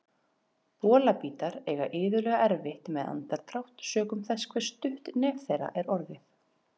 Bolabítar eiga iðulega erfitt með andardrátt sökum þess hve stutt nef þeirra er orðið.